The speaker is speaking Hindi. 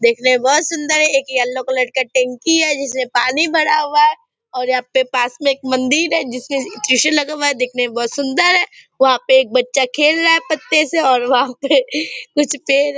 देखने में बहोत सुन्दर एक येलो कलर का टेंकी है जिसमे पानी भरा हुवा है और यहाँ पे पास में एक मंदिर है जिसके त्रिशूल लगा हुवा है देखने में बहोत सुन्दर है वहा पे एक बच्चा खेल रहा है पत्ते से और वहा पे कुछ पेड़ --